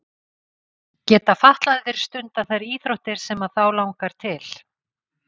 Geta fatlaðir stundað þær íþróttir sem að þá langar til?